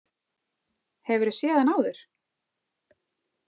Hefurðu séð hann áður?